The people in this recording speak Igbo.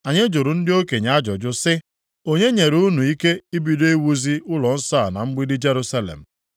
Anyị jụrụ ndị okenye ajụjụ sị: Onye nyere unu ikike ibido iwuzi ụlọnsọ a na mgbidi Jerusalem?